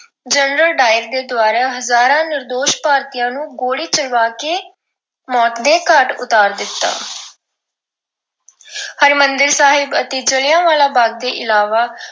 General O Dwyer ਦੇ ਦੁਆਰਾ ਹਜ਼ਾਰਾਂ ਭਾਰਤੀਆਂ ਨੂੰ ਗੋਲੀ ਚਲਵਾ ਕੇ ਮੌਤ ਦੇ ਘਾਟ ਉਤਾਰ ਦਿੱਤਾ ਹਰਿਮੰਦਰ ਸਾਹਿਬ ਅਤੇ ਜਲਿਆਂਵਾਲਾ ਬਾਗ ਦੇ ਇਲਾਵਾ